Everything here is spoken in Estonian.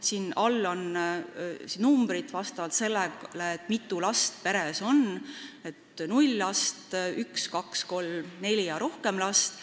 Siin all on numbrid selle kohta, mitu last peres on: 0, 1, 2, 3, 4 ja rohkem last.